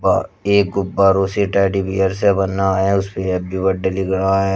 व एक गुब्बारों से टेडी बियर से बना है उस पे हैप्पी बर्थडे लिख रहा है।